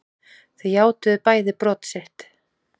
Þau játuðu bæði brot sitt